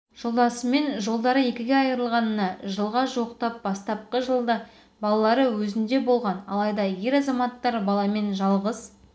жолдасымен жолдары екіге айырылғанына жылға жуықтапты бастапқы жылда балалары өзінде болған алайда ер азаматтар баламен жалғыз